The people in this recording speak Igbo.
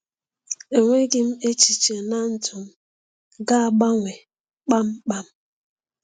Enweghị m echiche na ndụ m ga-agbanwe kpamkpam.